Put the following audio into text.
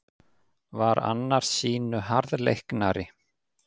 Var annar sýnu harðleiknari.